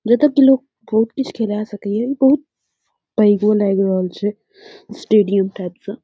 जब तक ई लोग कोट कुछ खिला सके बहुत पैगो लग रहल छे स्टेडियम टाइप स।